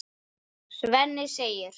Svenni segir